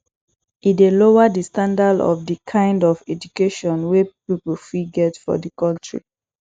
e dey lower di standand of di kind of education wey pipo fit get for di country